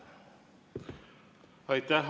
Aitäh!